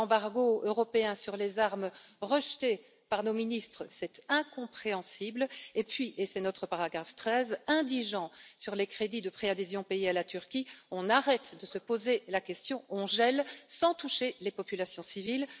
Un embargo européen sur les armes rejeté par nos ministres, c'est incompréhensible, et puis et c'est notre paragraphe 13 on réduit les crédits de préadhésion payés à la Turquie, on arrête de se poser la question, on gèle sans toucher les populations civiles.